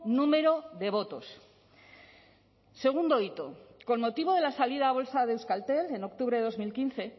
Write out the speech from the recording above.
número de votos segundo hito con motivo de la salida a bolsa de euskaltel en octubre de dos mil quince